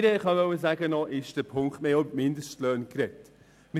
Ein weiterer Punkt: Wir haben auch über Mindestlöhne gesprochen.